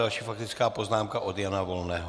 Další faktická poznámka - od Jana Volného.